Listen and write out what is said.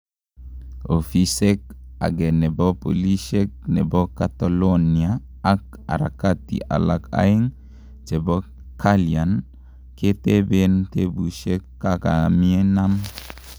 Ofisek age nepo polishek nepo catalonia ak harakati alak aegn chepo kalian ketepen tepushek kakaminam